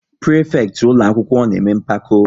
Prịfekịtị ụlọakwụkwọ na-eme mpako